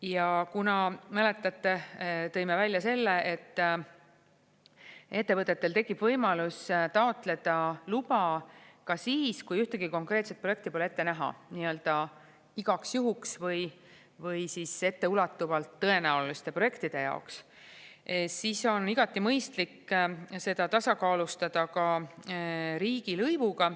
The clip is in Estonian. Ja kuna, mäletate, tõime välja selle, et ettevõtetel tekib võimalus taotleda luba ka siis, kui ühtegi konkreetset projekti pole ette näha, nii-öelda igaks juhuks või siis etteulatuvalt tõenäoliste projektide jaoks, siis on igati mõistlik seda tasakaalustada ka riigilõivuga.